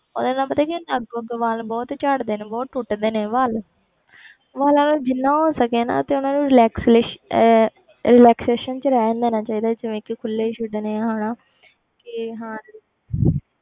ਉਹਦੇ ਨਾਲ ਪਤਾ ਕੀ ਹੁੰਦਾ, ਅੱਗੋਂ ਅੱਗੋਂ ਵਾਲ ਬਹੁਤ ਝੜਦੇ ਨੇ ਬਹੁਤ ਟੁੱਟਦੇ ਨੇ ਵਾਲ ਵਾਲਾਂ ਨੂੰ ਜਿੰਨਾ ਹੋ ਸਕੇ ਨਾ ਤੇ ਉਹਨਾਂ ਨੂੰ relaxatio~ ਅਹ relaxation 'ਚ ਰਹਿਣ ਦੇਣਾ ਚਾਹੀਦਾ ਜਿਵੇਂ ਕਿ ਖੁੱਲੇ ਛੱਡਣੇ ਹਨਾ ਤੇ ਹਾਂ